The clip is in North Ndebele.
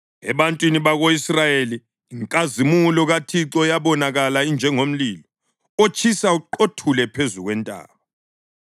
Ebantwini bako-Israyeli inkazimulo kaThixo yabonakala injengomlilo otshisa uqothule phezu kwentaba.